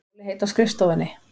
Rólegheit á skrifstofunni.